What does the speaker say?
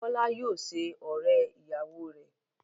Bọ́lá yóò ṣe ọ̀rẹ́-ìyàwọ rẹ.